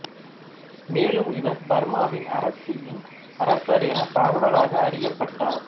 மேலும் இவர் பர்மாவின் அரிசியின் அரசர் என பரவலாக அறியப்பட்டார்